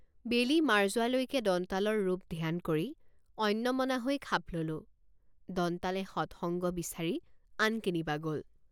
বেলি মাৰ যোৱালৈকে দন্তালৰ ৰূপ ধ্যান কৰি অন্যমনা হৈ খাপ ললোঁদন্তালে সৎসঙ্গ বিচাৰি আন কেনিবা গল।